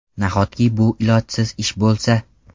Nahotki bu ilojsiz ish bo‘lsa?